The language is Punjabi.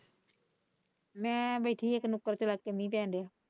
ਮੈਂ ਬੈਠੀ ਇੱਕ ਨੁੱਕੜ ਤੇ ਲੱਗ ਕੇ ਮੀਂਹ ਪੈਣ ਡਯਾ।